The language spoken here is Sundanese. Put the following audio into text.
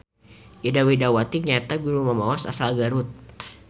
Ida Widawati nyaeta juru mamaos asal Garut.